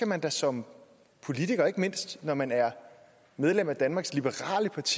man da som politiker ikke mindst når man er medlem af danmarks liberale parti